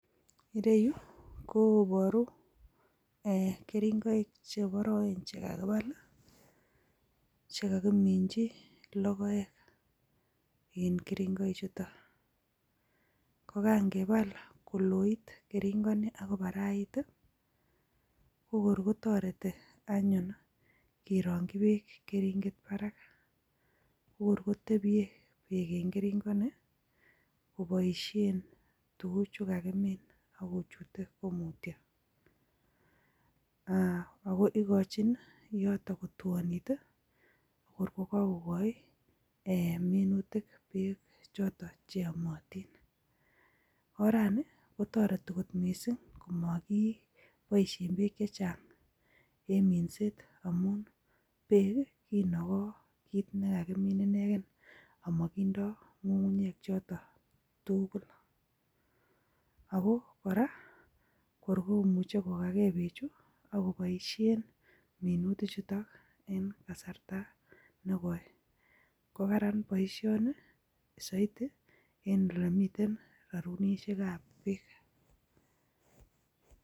Ire yu koboru keringoik cheboroen chekakipal chekakiminchi lokoek en keringoik chuto ko kangepal koloit keringoni akobarait kokor kotoreti anyun korongchi beek eng keringet barak kokor kotepchei beek eng keringoni koboishen tukuchu kakimin akochute mutio ako ikochin yoton kotuonit kor kokakokoi minutik beek choto che yomotin orani kotoreti kot missing makiboishe beek che chang eng minset amun beek kinokoi kiit nikakimin inekee anakindo ng'ung'unyek chotok tukul ako kora kor komuche kokakee bechu akoboishen minutik chuto eng kasarta nekoi ko Karan boishoni saiti en lemiten sarunishek ap beek.